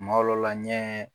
Ma lɔw la ɲɛ